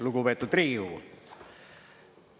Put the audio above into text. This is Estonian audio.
Lugupeetud Riigikogu!